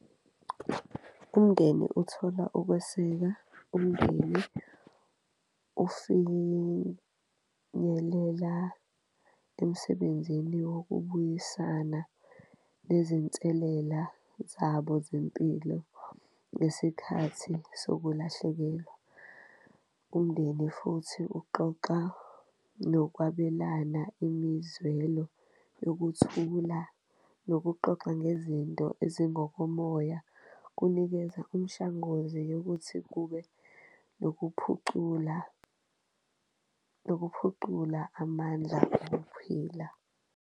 Umndeni uthola ukweseka umndeni usimelela emsebenzini wokubuyisana nezinselela zabo zempilo ngesikhathi sokulahlekelwa, umndeni futhi uxoxa nokwabelana imizwelo yokuthula nokuxoxa ngezinto ezingokomoya. Kunikeza umshanguze yokuthi kube nokuphucula, nokuphuqula amandla .